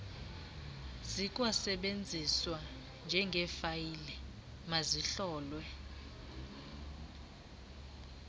zikwasetyenziswa njengeefayile mazihlolwe